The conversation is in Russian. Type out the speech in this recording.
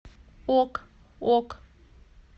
ок ок